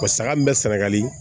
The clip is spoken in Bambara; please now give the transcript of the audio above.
saga min bɛ sɛnɛgali